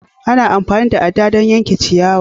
Ana amfani da adda don yankan ciyawa